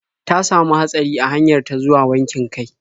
Ta samu hatsari a hanyar ta zuwa wankin kai.